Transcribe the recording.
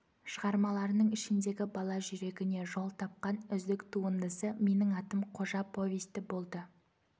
шығармларының ішіндегі бала жүрегіне жол тапқан үздік туындысы менің атым қожа повесті болды